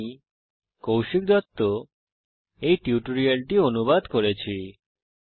আমি কৌশিক দত্ত এই টিউটোরিয়ালটি অনুবাদ করেছি